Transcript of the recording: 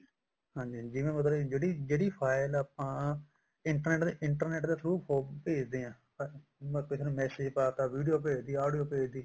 ਹਾਂਜੀ ਹਾਂਜੀ ਜਿਵੇਂ ਮਤਲਬ ਕੇ ਜਿਹੜੀ file ਆਪਾਂ internet internet ਦੇ through ਭੇਜਦੇ ਹਾਂ ਅਮ ਕਿਸੇ ਨੂੰ message ਪਾਤਾ video ਭੇਜਤੀ audio ਭੇਜਤੀ